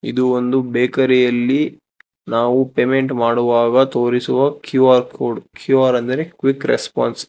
ಇದು ಒಂದು ಬೇಕರಿಯಲ್ಲಿ ನಾವು ಪೇಮೆಂಟ್ ಮಾಡುವಾಗ ತೋರಿಸುವ ಕ್ಯೂ_ಆರ್ ಕೋಡ್ ಕ್ಯೂ_ಆರ್ ಎಂದರೆ ಕ್ವಿಕ್ ರೆಸ್ಪಾನ್ಸ್ .